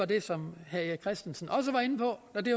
det som herre erik christensen også var inde på og det